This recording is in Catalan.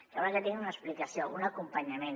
caldrà que tinguin una explicació un acompanyament